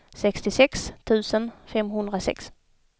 sextiosex tusen femhundrasex